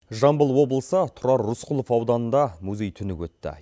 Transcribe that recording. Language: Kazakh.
жамбыл облысы тұрар рысқұлов ауданында музей түні өтті